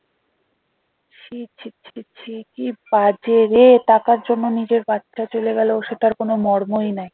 ছি ছি ছি ছি কি বাজে রে টাকার জন্য নিজের বাচ্চা চলে গেল সেটার কোনো মর্মই নাই।